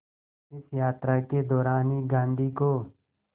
इस यात्रा के दौरान ही गांधी को